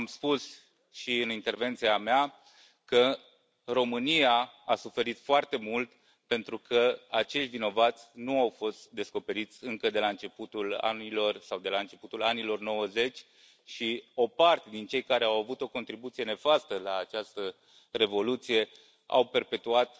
Am spus și în intervenția mea că România a suferit foarte mult pentru că acei vinovați nu au fost descoperiți încă de la începutul anilor 1990 și o parte din cei care au avut o contribuție nefastă la această revoluție s au perpetuat